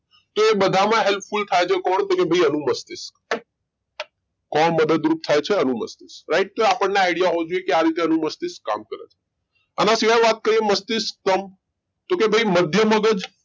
તે બધામાં helpful થાય છે કોણ તો કે ભઈ અનુમસ્તિષ્ક કોણ મદદરૂપ થાય છે અનુમસ્તિષ્ક એ રાઈટ તો આપડને idea હોવો જોઈએ કે આ રીતે અનુમસ્તિષ્ક કામ કરે છે આના સિવાય વાત કરીયે મસ્તિષ્ક કમ તો કે ભઈ મધ્ય મગજ